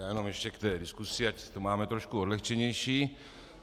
Já jenom ještě k té diskusi, ať to máme trochu odlehčenější.